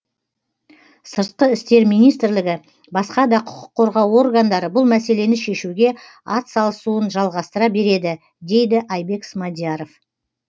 сыртқы істер министрлігі басқа да құқық қорғау органдары бұл мәселені шешуге атсалысуын жалғастыра береді деді айбек смадияров